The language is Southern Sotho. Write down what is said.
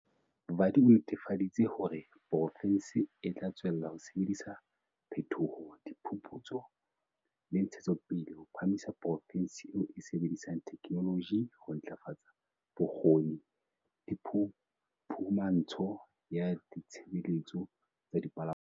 Vadi o netefaditse hore poro fense e tla tswella ho sebedisa phethoho, diphuphutso le ntshetsopele ho phahamisa porofense e e sebedisang theke noloji ho ntlafatsa bokgoni le phumahantsho ya ditshebeletso tsa dipalangwang.